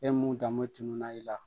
E mun danmo tununa i la.